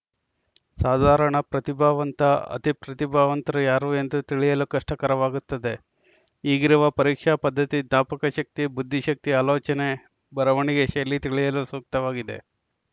ಸಾಧಾರಣ ಪ್ರತಿಭಾವಂತ ಅತಿ ಪ್ರತಿಭಾವಂತರು ಯಾರು ಎಂದು ತಿಳಿಯಲು ಕಷ್ಟಕರವಾಗುತ್ತದೆ ಈಗಿರುವ ಪರೀಕ್ಷಾ ಪದ್ಧತಿ ಜ್ಞಾಪಕಶಕ್ತಿ ಬುದ್ಧಿಶಕ್ತಿ ಆಲೋಚನೆ ಬರವಣಿಗೆ ಶೈಲಿ ತಿಳಿಯಲು ಸೂಕ್ತವಾಗಿದೆ